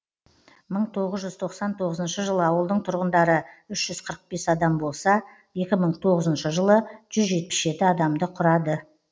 мың тоғыз жүз тоқсан тоғызыншы жылы ауылдың тұрғындары үш жүз қырық бес адам болса екі мың тоғызыншы жылы жүз жетпіс жеті адамды құрады